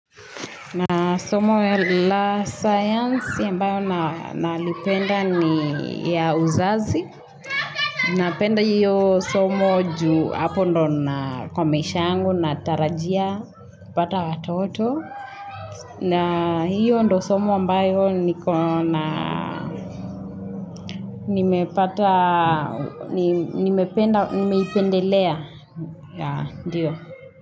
Na somo ya la science ambayo nalipenda ni ya uzazi. Napenda hiyo somo ju hapo ndo na kwa maisha yangu na tarajia kupata watoto. Na hiyo ndo somo ambayo niko na Nimependa, nimeipendelea. Ya, ndiyo.